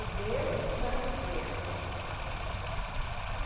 O berço da estrela.